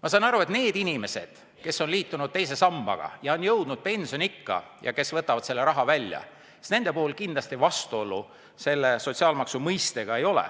Ma saan aru, et nende inimeste puhul, kes on liitunud teise sambaga ja on jõudnud pensioniikka ning võtavad selle raha välja, kindlasti vastuolu selle sotsiaalmaksu mõistega ei ole,